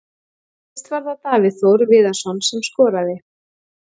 Fyrst var það Davíð Þór Viðarsson sem skoraði.